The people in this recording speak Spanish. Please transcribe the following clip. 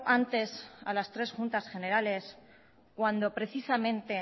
antes a las tres juntas generales cuando precisamente